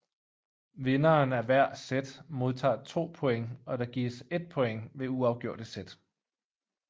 Vinderen af hver set modtager 2 points og der gives 1 point ved uafgjorte set